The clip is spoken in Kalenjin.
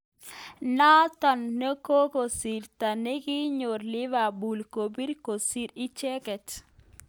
Notok kokikasarta nekinyor Liverpool kobit kosir icheket.